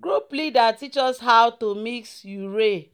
"group leader teach us how to mix urea